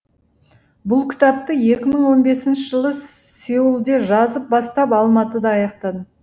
бұл кітапты екі мың он бесінші жылы сеулде жазып бастап алматыда аяқтадым